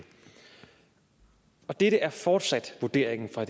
og dette er fortsat vurderingen fra